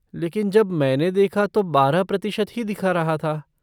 लेकिन जब मैंने देखा तो बारह प्रतिशत ही दिखा रहा था।